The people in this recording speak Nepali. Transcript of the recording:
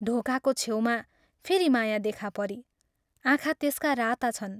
ढोकाको छेउमा फेरि माया देखा परी आँखा त्यसका राता छन्।